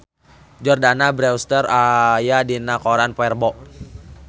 Jordana Brewster aya dina koran poe Rebo